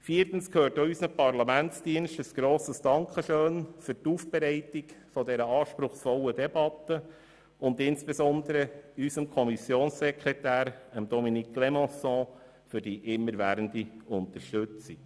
Viertens gehört auch unseren Parlamentsdiensten ein Dankeschön für die Aufbereitung dieser anspruchsvollen Debatte und insbesondere unserem Kommissionssekretär Dominique Clémençon für die immerwährende Unterstützung.